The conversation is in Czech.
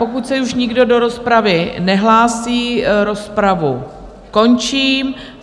Pokud se už nikdo do rozpravy nehlásí, rozpravu končím.